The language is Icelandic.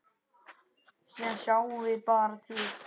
Síðan sjáum við bara til.